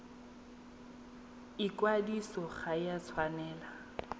ikwadiso ga e a tshwanela